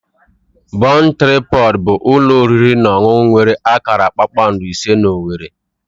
Bon Tripọd bụ ụlọ oriri na ọṅụṅụ nwere akara kpakpando ise na owerri.